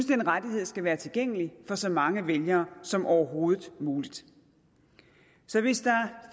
den rettighed skal være tilgængelig for så mange vælgere som overhovedet muligt så hvis der